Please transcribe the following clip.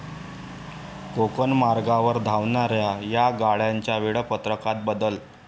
कोकण मार्गावर धावणाऱ्या या गाड्यांच्या वेळापत्रकात बदल